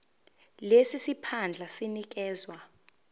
lesi siphandla sinikezwa